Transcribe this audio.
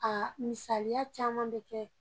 Aa misaliya caman be kɛ